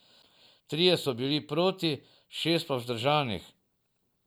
Trije so bili proti, šest pa vzdržanih.